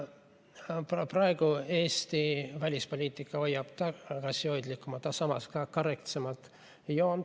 Praegu Eesti välispoliitika hoiab tagasihoidlikumat, aga samas korrektsemat joont.